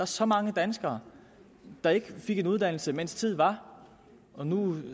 så mange danskere der ikke fik en uddannelse mens tid var som nu